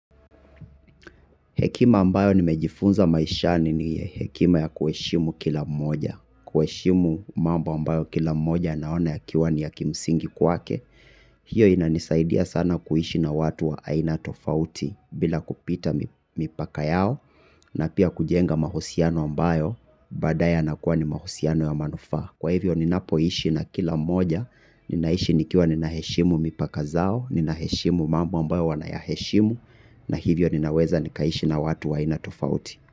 Hekima ambayo nimejifunza maishani ni hekima ya kuheshimu kila mmoja. Kuheshimu mambo ambayo kila mmoja anaona yakiwa ni ya kimsingi kwake. Hiyo inanisaidia sana kuishi na watu wa aina tofauti bila kupita mipaka yao na pia kujenga mahusiano ambayo badaye yanakuwa ni mahusiano ya manufaa. Kwa hivyo ninapoishi na kila moja, ninaishi nikiwa ninaheshimu mipaka zao, ninaheshimu mambo ambayo wanayaheshimu, na hivyo ninaweza nikaishi na watu wa aina tofauti.